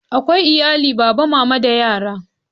Akwai iyalin baba, mama da yara.